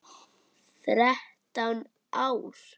Þrettán ár.